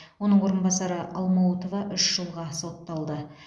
оның орынбасары алмаутова үш жылға сотталды